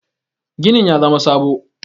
ginin ya zama sabo?